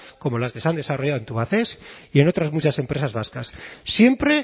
como las que se han desarrollado en tubacex y en otras muchas empresas vascas siempre